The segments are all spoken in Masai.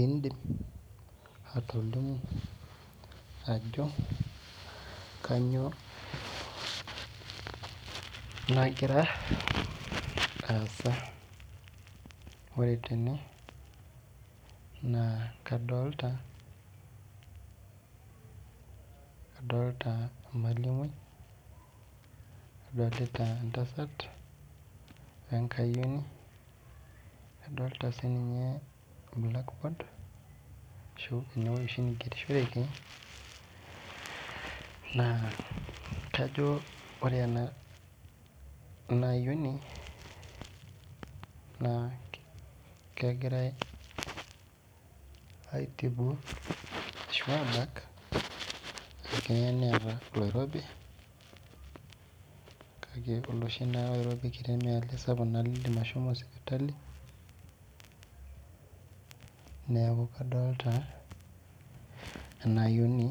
Indim atolimu ajo kanyio nagira aasa ore tene na kadolta kadolta emalimui nadolta entasat wenkayioni nadolta blackboard enewoi oshi naigerishoreki na kajo orw enaayioni na kegirai aitibu ashu abak neeta oloirobi kake olosho oirobi kitibmaa oloshi lindim ashomo sipitali neaku kadolta enaayioni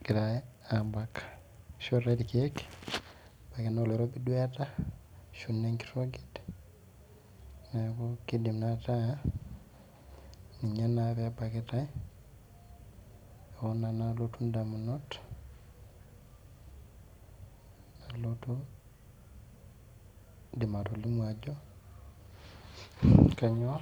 egirai abak isboritae irkiek ebaki na oloirobi duo eeta ashu enkoroget neaku kidim naa ataa ninye ebakitae oo nanu ninye nalotu ndamunot Indim atolimu ajo kanyio.